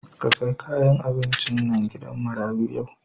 Ka kai kayan abincin nan gidan marayu yau.